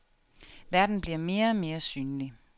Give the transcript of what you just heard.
Verden bliver mere og mere synlig.